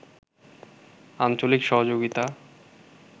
আঞ্চলিক সহযোগিতা